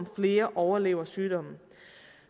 flere overlever sygdommen